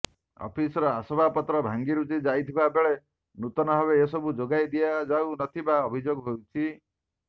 officer ଆସବାବପତ୍ର ଭାଙ୍ଗିରୁଜି ଯାଇଥିବା ବେଳେ ନୂତନ ଭାବେ ଏସବୁ ଯୋଗାଇ ଦିଆଯାଉ ନଥିବା ଅଭିଯୋଗ ହେଉଛି